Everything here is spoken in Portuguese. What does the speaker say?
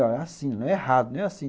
É assim, não é errado, não é assim.